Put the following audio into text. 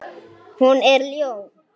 Hún er ljón.